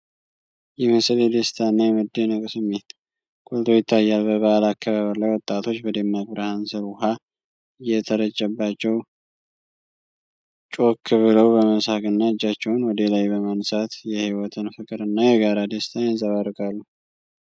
ይህ ምስል የደስታ እና የመደነቅ ስሜት ጎልቶ ይታያል። በበዓል አከባበር ላይ ወጣቶች በደማቅ ብርሃን ስር ውሃ እየተረጨባቸው ጮክ ብለው በመሳቅ እና እጃቸውን ወደ ላይ በማንሳት፣ የህይወትን ፍቅር እና የጋራ ደስታን ያንጸባርቃሉ።